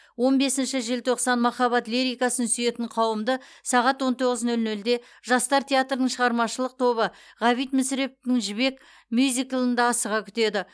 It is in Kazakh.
он бесінші желтоқсан махаббат лирикасын сүйетін қауымды сағат он тоғыз нөл нөлде жастар театрының шығармашылық тобы ғабит мүсіреповтің жібек мюзиклында асыға күтеді